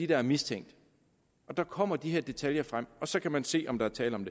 der er mistænkt og der kommer de her detaljer frem og så kan man se om der er tale om